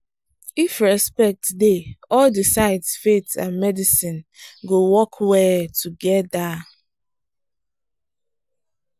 if respect dey all di sides faith and medicine go work well together.